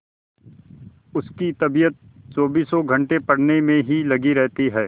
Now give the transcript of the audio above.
उसकी तबीयत चौबीसों घंटे पढ़ने में ही लगी रहती है